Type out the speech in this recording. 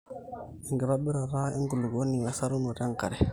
enkitobirrata enkulukuoni wesarunoto enkare